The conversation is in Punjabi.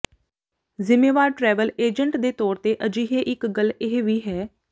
ਜ਼ਿੰਮੇਵਾਰ ਟਰੈਵਲ ਏਜੰਟ ਦੇ ਤੌਰ ਤੇ ਅਜਿਹੇ ਇੱਕ ਗੱਲ ਇਹ ਵੀ ਹੈ